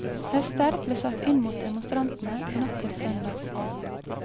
Hester ble satt inn mot demonstrantene natt til søndag.